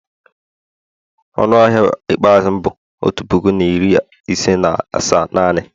Ọnụ ahịa ikpeazụ m bụ otu puku na iri ise na asaa naanị